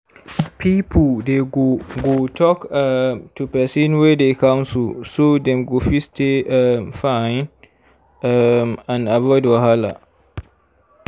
people dey go go talk um to person wey dey counsel so dem go fit stay um fine um and avoid wahala